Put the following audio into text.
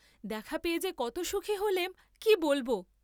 দেখা পেয়ে যে কত সুখী হলেম কি বলব।